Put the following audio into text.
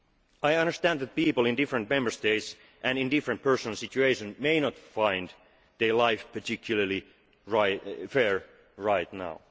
I understand that people in different Member States and in different personal situations may not find their life particularly fair right